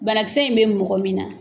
Banakisɛ in bɛ mɔgɔ min na